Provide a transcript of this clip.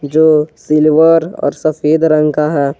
जो सिल्वर और सफेद रंग का है।